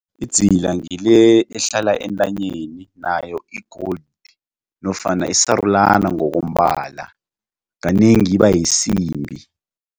Idzila ngile ehlala entanyeni nayo i-gold nofana isarulana ngokombala kanengi iba yisimbi.